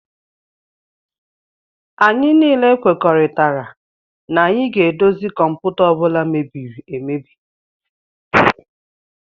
Anyị niile kwekoritara na anyị ga edozi kọmputa ọbula mebiri emebi.